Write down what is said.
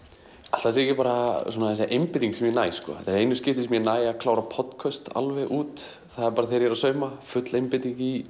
ætli það sé ekki bara þessi einbeiting sem ég næ þetta eru einu skiptin sem ég næ að klára alveg út það er þegar ég er að sauma full einbeiting í